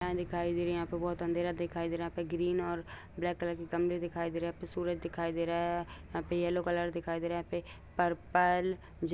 जहा दिखाई दे रही यहाँ पे बहुत अँधेरा दिखाई दे रहा है ग्रीन और ब्लैक कलर के गमले दिखाई दे रहे हैं सूरज दिखाई दे रहा है यहाँ पे येलो कलर दिखाई दे रहा है यहाँ पे परपल -